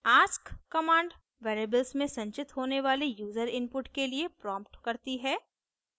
ask command variables में संचित होने वाले यूजर input के लिए prompts करती है